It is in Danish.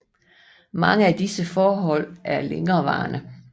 Mange af disse forhold er længerevarende